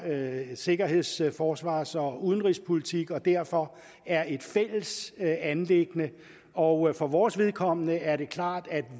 sikkerheds forsvars og udenrigspolitik og derfor er et fælles anliggende og for vores vedkommende er det klart at